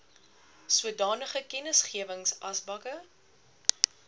sodanige kennisgewings asbakke